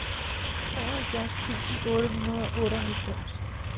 treoghalvfjerds tusind otte hundrede og otteoghalvfems